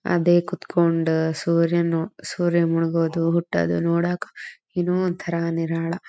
ಅದೇ ಕುತ್ಕೊಂಡ ಸೂರ್ಯನ್ ನೋ ಸೂರ್ಯ ಮುಳುಗೋದು ಹುಟ್ಟೋದು ನೋಡಾಕ ಏನೋ ಒಂತರ ನಿರಾಳ.